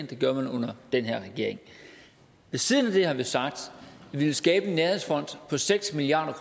det gør man under den her regering siden det har vi sagt at vi vil skabe en nærhedsfond på seks milliard